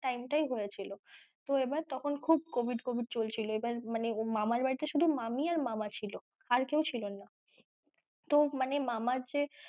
Time টায় হয়েছিল এবার তখন খুব covid covid চলছিল এবার মানে মামার বাড়িতে শুধু মামি আর মামা ছিল আর কেউ ছিল না তো মানে মামার যে,